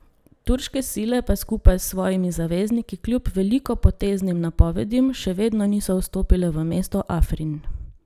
Turške sile pa skupaj s svojimi zavezniki kljub velikopoteznim napovedim še vedno niso vstopile v mesto Afrin.